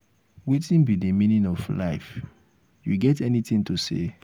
wetin be di meaning of life you get any thing to say?